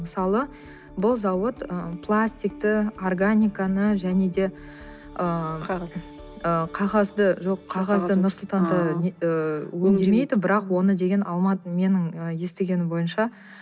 мысалы бұл зауыт ы пластикті органиканы және де ыыы қағазды жоқ қағазды нұр сұлтанда ыыы өңдемейді бірақ оны деген менің естігенім бойынша